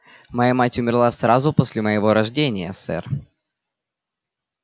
моя мать умерла сразу после моего рождения сэр